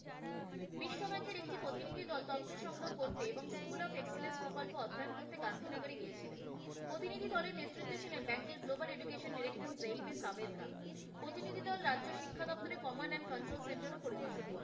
করতে এবং school of excellence প্রকল্প অধ্যয়ন করতে গান্ধীনগরে গিয়েছিলেন। প্রতিনিধি দলের নেতৃত্বে ছিলেন bank এর global director of education Jain Sabedra, প্রতিনিধি দল রাজ্য শিক্ষা দফতরের কমান্ড এন্ড কন্ট্রোল সেন্টার ও পরিদর্শন করেন।